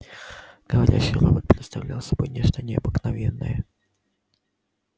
говорящий робот представлял собой нечто необыкновенное